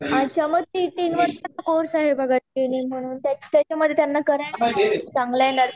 अच्छा मग ती तीन वर्षाचा कोर्स आहे बघा त्याच्या मधे त्यांना करायला लावा चांगलाय नर्सिंग चा कोर्स त्यामधे